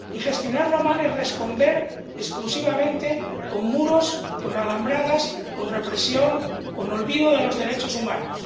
Y gestionarlo mal es responder exclusivamente con muros, con alambradas, con represión, con olvido de los derechos humanos.